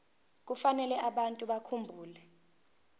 kufanele abantu bakhumbule